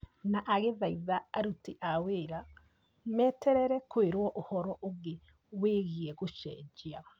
na agĩthaitha aruti a wĩra meterere kwĩrwo ũhoro ũngĩ wĩgiĩ gũcenjia.